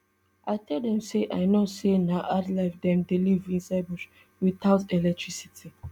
i tell dem say i know say na hard life dem dey live inside bush witout electricity